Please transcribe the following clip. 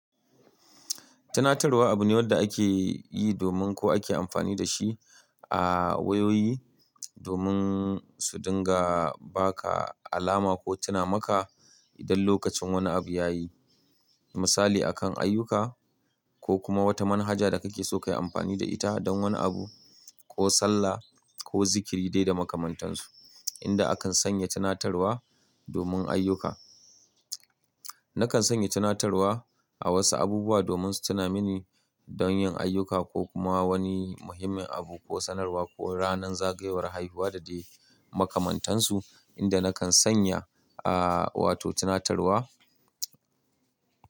Tunatarwa abu ne wanda ake yi domin ko ake amfani da shi a wayoyi domin su dinga ba ka alama ko tuna maka idan lokacin wani abu ya yi. Misali, a kan ayyuka ko kuma wata manhaja da kake so ka yi amfani da ita don wani abu ko sallah ko zikiri dai da makamantansu, inda akan sanya tunatarwa domin ayyuka. Nakan sanya tunatarwa a wasu abubuwa domin su tuna mini don yin ayyuka ko kuma wani muhimmin abu ko sanarwa ko ranar zagayowar haihuwa da dai makamantansu inda nakan sanya, ah, wato tunatarwa.